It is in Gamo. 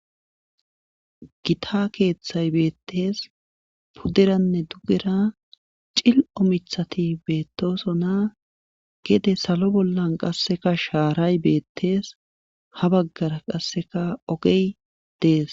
gita keeththay beettees pudderanne dugera cil7o mithati beettosona gede salo bollan qasseka shaaray beettees ha baggara qasseka ogey dees